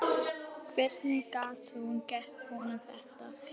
Hvernig gat hún gert honum þetta?